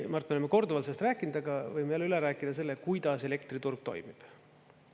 Mart, me oleme korduvalt sellest rääkinud, aga võime jälle üle rääkida selle, kuidas elektriturg toimib.